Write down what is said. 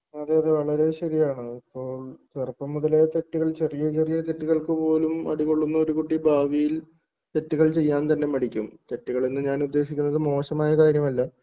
അതെ അതെ വളരെ ശരിയാണ് ഇപ്പോ ചെറുപ്പം മുതലേ തെറ്റുകൾ ചെറിയ ചെറിയ തെറ്റുകൾക്ക് പോലും അടി കൊള്ളുന്ന ഒരു കുട്ടി ഭാവിയിൽ തെറ്റുകൾ ചെയ്യാൻ തന്നെ മടിക്കും തെറ്റുകൾ എന്ന് ഞാൻ ഉദ്ദേശിക്കുന്നത് മോശമായ കാര്യമല്ല